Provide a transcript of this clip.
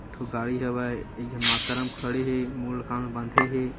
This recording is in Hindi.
एक ठो गाड़ी हवे एक झन माता राम खड़े हे मुह कान बंधे हे।